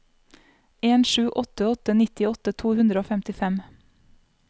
en sju åtte åtte nittiåtte to hundre og femtifem